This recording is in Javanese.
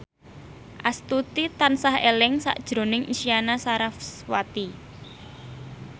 Astuti tansah eling sakjroning Isyana Sarasvati